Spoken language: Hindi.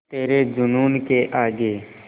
तेरे जूनून के आगे